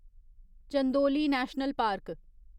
Chandoli national park